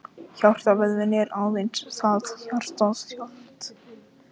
Hjartavöðvinn er aðeins einn, það er hjartað sjálft.